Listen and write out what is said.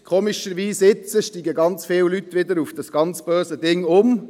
Komischerweise steigen jetzt ganz viele Leute wieder auf dieses ganz böse Ding um.